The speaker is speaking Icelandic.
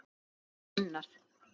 Lóa og Gunnar.